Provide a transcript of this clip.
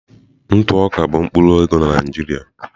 Ntụ oká bụ mkpụrụ ego na Naịjirịa.